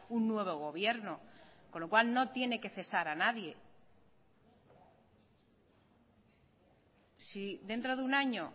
un nuevo gobierno con lo cual no tiene que cesar a nadie si dentro de un año